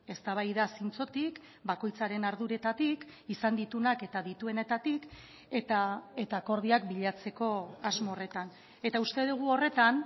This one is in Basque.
eztabaida zintzotik bakoitzaren arduretatik izan dituenak eta dituenetatik eta akordioak bilatzeko asmo horretan eta uste dugu horretan